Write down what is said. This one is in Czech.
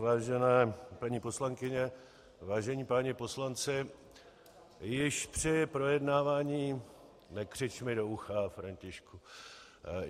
Vážené paní poslankyně, vážení páni poslanci, již při projednávání - nekřič mi do ucha, Františku.